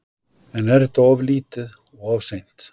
En er þetta of lítið og of seint?